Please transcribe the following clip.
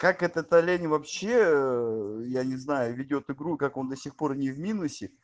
как это лень вообще я не знаю ведёт игру как он до сих пор не в минус